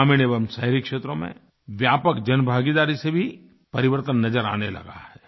ग्रामीण एवं शहरी क्षेत्रों में व्यापक जनभागीदारी से भी परिवर्तन नज़र आने लगा है